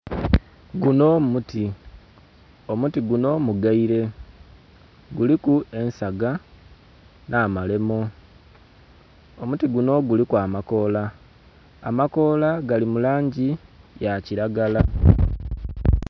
Gunho muti, omuti gunho mugaile, guliku ensaga nh'amalemo. Omuti gunho guliku amakoola, amakoola gali mu langi ya kilagala